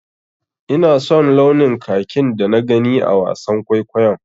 Ina son launin kakin da na gani a wasan kwaikwayon.